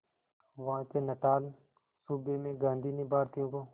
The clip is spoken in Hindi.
वहां के नटाल सूबे में गांधी ने भारतीयों को